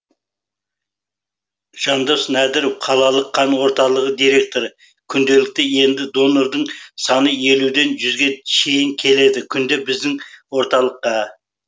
жандос нәдіров қалалық қан орталығы директоры күнделікті енді донордың саны елуден жүзге шейін келеді күнде біздің орталыққа